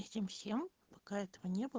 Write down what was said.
всем всем пока это не было